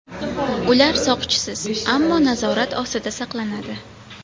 Ular soqchisiz, ammo nazorat ostida saqlanadi.